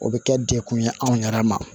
O bɛ kɛ dekun ye anw yɛrɛ ma